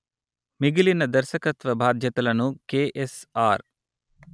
మిగిలిన దర్శకత్వ బాధ్యతలను కెఎస్ఆర్